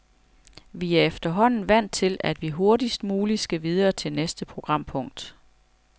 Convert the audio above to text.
Vi er efterhånden vant til, at vi hurtigst muligt skal videre til næste programpunkt.